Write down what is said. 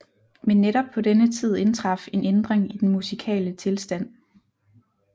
Men netop på denne tid indtraf en ændring i den musikale tilstand